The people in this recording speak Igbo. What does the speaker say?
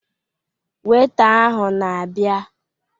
Weita ahụ na-abịa